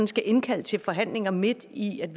skal indkalde til forhandlinger midt i en